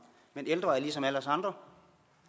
men ældre er ligesom alle os andre